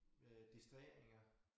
Øh distraheringer